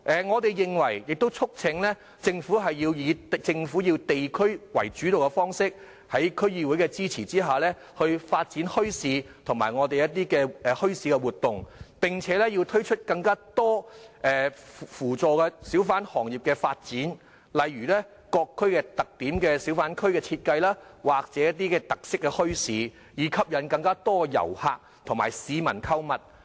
我們促請政府要以地區主導的方式，在區議會支持下發展墟市和墟市活動，並推出更多扶助小販行業發展的政策，例如按各區的特點設計小販或特色墟市，以吸引更多遊客和市民購物。